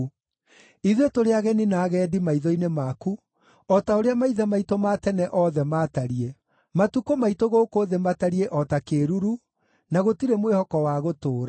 Ithuĩ tũrĩ ageni na agendi maitho-inĩ maku, o ta ũrĩa maithe maitũ ma tene othe maatariĩ. Matukũ maitũ gũkũ thĩ matariĩ o ta kĩĩruru, na gũtirĩ mwĩhoko wa gũtũũra.